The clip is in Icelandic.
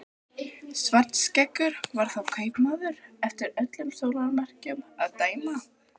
Svartskeggur var þá kaupmaður eftir öllum sólarmerkjum að dæma.